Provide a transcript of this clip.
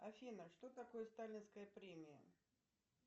афина что такое сталинская премия